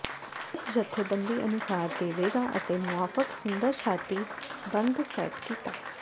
ਇਸ ਜਥੇਬੰਦੀ ਅਨੁਸਾਰ ਦੇਵੇਗਾ ਅਤੇ ਮੁਆਫਕ ਸੁੰਦਰ ਛਾਤੀ ਬੰਦ ਸੈੱਟ ਕੀਤਾ